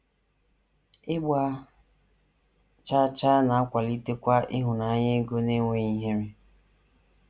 Ịgba chaa chaa na - akwalitekwa ịhụnanya ego n’enweghị ihere.